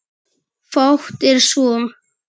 Fátt er svo.